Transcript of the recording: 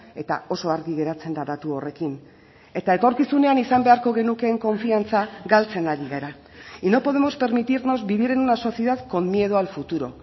eta oso argi geratzen da datu horrekin eta etorkizunean izan beharko genukeen konfiantza galtzen ari gara y no podemos permitirnos vivir en una sociedad con miedo al futuro